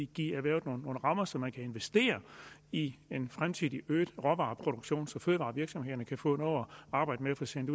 give erhvervet nogle rammer så man kan investere i en fremtidig øget råvareproduktion så fødevarevirksomhederne kan få noget at arbejde med og få sendt